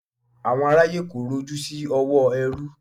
Àwọn aráyé korò ojú sí òwò ẹrú.